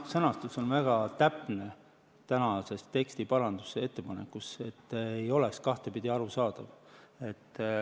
Sõnastus on väga täpne teksti parandusettepanekus, et see ei oleks kahtepidi arusaadav.